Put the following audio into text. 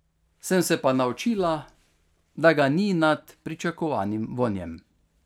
Sem se pa naučila, da ga ni nad pričakovanim vonjem.